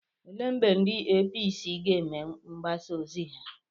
Ele mgbe ndị APC ga-eme mgbasa ozi ha?